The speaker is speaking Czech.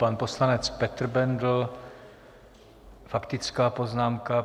Pan poslanec Petr Bendl, faktická poznámka.